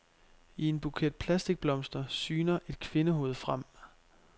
I en buket plastikblomster syner et kvindehoved frem.